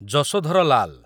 Yashodhar Lal